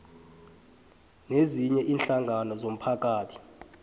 nezinye iinhlangano zomphakathi